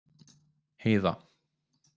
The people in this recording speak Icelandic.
Heiða